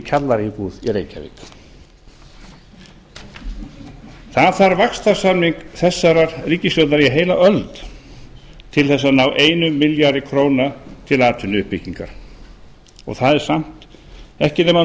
kjallaraíbúð í reykjavík það þarf vaxtarsamning þessarar ríkisstjórnar í heila öld til að ná einum milljarði króna til atvinnuuppbyggingar og það er samt